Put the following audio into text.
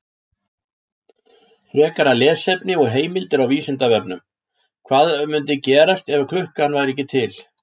Frekara lesefni og heimildir á Vísindavefnum: Hvað mundi gerast ef klukka væri ekki til?